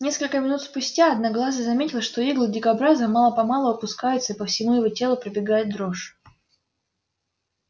несколько минут спустя одноглазый заметил что иглы дикобраза мало помалу опускаются и по всему его телу пробегает дрожь